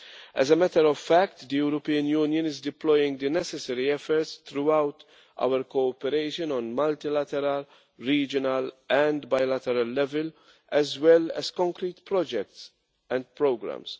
As a matter of fact, the European Union is deploying the necessary efforts through our cooperation on multilateral, regional and bilateral level, as well as concrete projects and programmes.